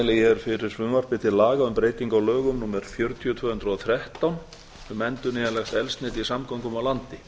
hér fyrir frumvarpi til laga um breytingu á lögum númer fjörutíu tvö þúsund og þrettán um endurnýjanlegt eldsneyti í samgöngum á landi